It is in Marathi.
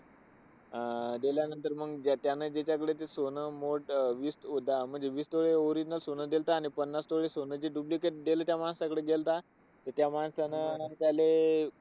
अं गेल्यानंतर मग त्यानं ज्याच्याकडे ते सोनं मोट अह विस दा अह म्हणजे विस तोळ original सोनं दिलं होतं आणि पन्नास तोळे जे duplicate सोनं दिलंत त्या माणसाकडे गेल्ता. ते त्या माणसाने, त्याले खूप